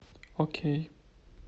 окей